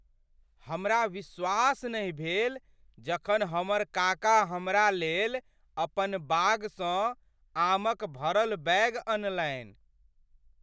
हमरा विश्वास नहि भेल जखन हमर काका हमरा लेल अपन बागसँ आमक भरल बैग अनलनि।